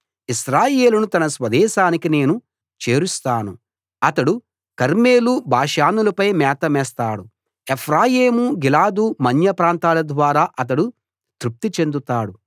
ఇశ్రాయేలును తన స్వదేశానికి నేను చేరుస్తాను అతడు కర్మెలు బాషానులపై మేత మేస్తాడు ఎఫ్రాయిము గిలాదు మన్య ప్రాంతాల ద్వారా అతడు తృప్తి చెందుతాడు